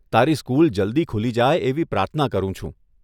તારી સ્કૂલ જલ્દી ખૂલી જાય એવી પ્રાર્થના કરું છું.